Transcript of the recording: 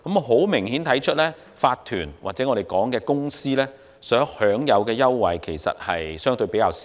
很明顯，法團或我們所稱的公司，所享有的優惠其實相對較少。